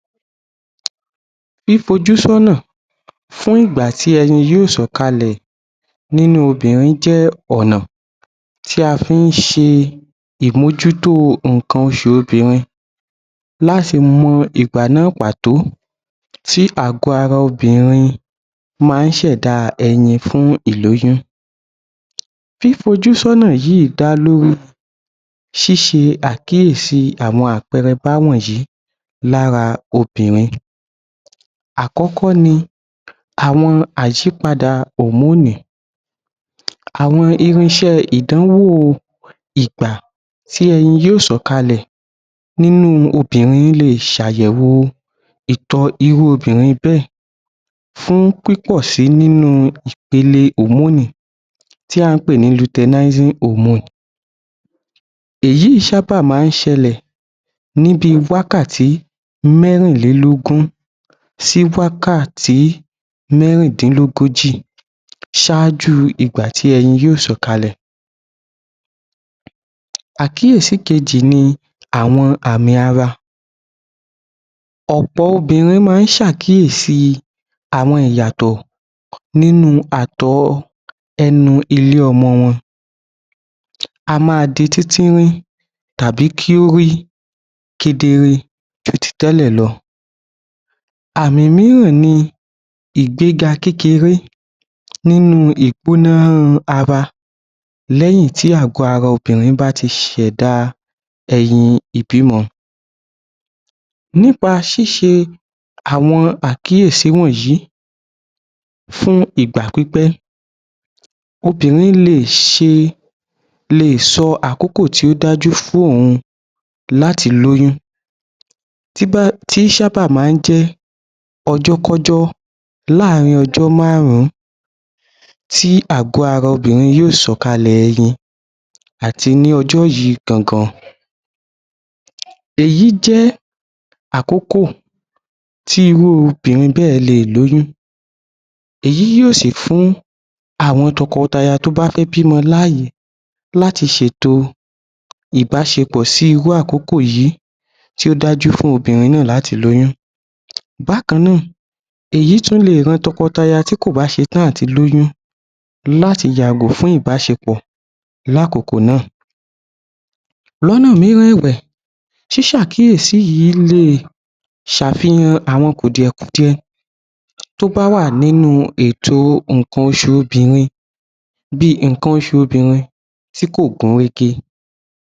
Fífojú sọ́nà fún ìgbà tí ẹyin yóò sọ̀kalẹ̀ nínú obìnrin jẹ́ ọ̀nà tí a fí ń ṣe ìmójútó ǹnkan oṣù obìnrin, láti mọ ìgbà náà pàtó tí àgọ ara obìnrin máa ń ṣẹ̀dá ẹyin fún ìlóyún. Fífojú sọ́nà yìí dá lórí ṣíṣe àkíyèsí àwọn àpẹẹrẹ wọ̀nyìí lára obìnrin. Àkọ́kọ́ ni, àwọn àìsípadà hòmónì[Hormones] àwọn irinṣẹ́ ìdánwò ìgbà tí ẹyin yóò sọ̀kalẹ̀ nínú obìnrin lè ṣàyẹ̀wò ìtọ̀ irú obìnrin bẹ́ẹ̀ fún pípọ̀ si nínú ipele hòmónì[hormones] tí à ń pè ní luteinizing hormone èyí sábà máa ń ṣẹlẹ̀ ní bi wákàtí mẹ́rìnlélógún sí wákàtí mẹ́rìndínlógójì ṣáájú ìgbà tí ẹyin yóò sọ̀kalẹ̀. Àkíyèsí kejì ni àwọn àm̀ì ara, ọ̀pọ̀ obìnrin máa ń ṣe àwọn àkíyèsí àwọn ìyàtọ̀ nínú atọ̀ ẹnu ilé ọmọ wọn a máa di tíntinrín tàbí kí ó rí kedere ju àti tẹ́lẹ̀ lọ àmì míràn ni ìgbega kékeré nínú ìpóná ara lẹ́yìn tí àgọ ara obìnrin bá ti ṣẹ̀da ẹyin ìbímọ. Nípa ṣíṣe àwọn àkíyèsí wọ̀nyí fún ìgbà pípẹ́, obìnrin lè ṣe, lè sọ àkókò tí ó dájú fún òun láti lóyún tó sábà máa ń jẹ́ ọjọ́kọ́jọ́ láàrin ọjọ́ márùn-ún tí àgọ ara obìnrin yóò sọ̀kalẹ̀ ẹyin àti ní ọjọ́ yìí gangan èyí jẹ́ àkókò tí irú obìnrin bẹ́ẹ̀ lè lóyún èyí yóò sì fún àwọn tọkọtaya tó bá fẹ́ bímọ láyè láti ṣe ètò ìbáṣepọ̀ sí irú àkókò yìí tí ó dájú fún obìnrin náà láti lóyún, bákan náà, èyí tún lè ran tọkọtaya tí kò bá ṣetán áti lóyún láti yàgò fún ìbáṣepọ̀ lákókò náà. Lọ́nà míràn ẹ̀wẹ̀, ṣíṣe àkíyèsí yìí lè ṣàfihàn àwọn kùdiẹ̀-kudiẹ tó bá wà nínú ètò ǹnkan oṣù obìnrin bí i ǹnkan oṣù obìnrin tí kò gún régé.